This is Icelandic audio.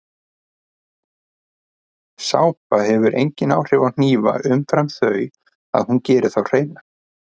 Sápa hefur engin áhrif á hnífa umfram þau að hún gerir þá hreina.